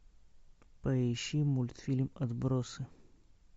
поищи мультфильм отбросы